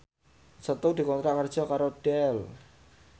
Setu dikontrak kerja karo Dell